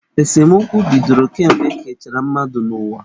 Esemokwu bidoro kemgbe ekechara mmadụ n'ụwa.